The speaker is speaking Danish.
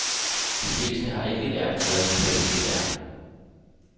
De fleste har ikke lært, hvad kvalitet er.